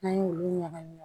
N'an y'olu ɲagami